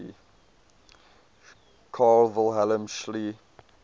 carl wilhelm scheele